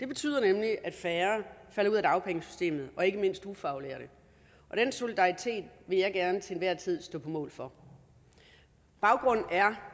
betyder nemlig at færre falder ud af dagpengesystemet ikke mindst ufaglærte den solidaritet vil jeg gerne til enhver tid stå på mål for baggrunden er